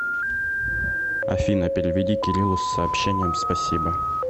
афина переведи кириллу с сообщением спасибо